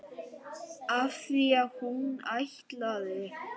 Af því hún ætlaði.